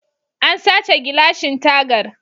An sace gilashin tagar